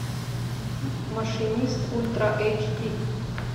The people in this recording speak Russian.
машинист ультра эйч ди